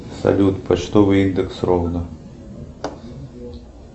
салют почтовый индекс ровно